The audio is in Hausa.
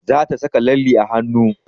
Za ta saka lalle a hanu